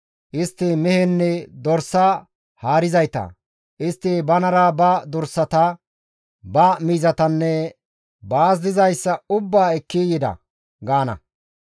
Istti miizinne dorsa haarizayta; istti banara ba dorsata, ba miizatanne baas dizayssa ubbaa ekki yida› gaana.